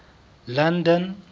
london